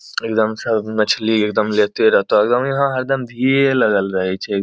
एगदम स मछली एगदम लेते रहतौ एगदम यहाँ हरदम भीड़ लगल रहै छै।